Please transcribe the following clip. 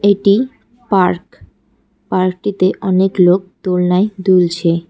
এটি পার্ক পার্কটিতে অনেক লোক দোলনায় দুলছে।